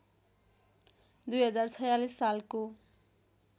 २०४६ सालको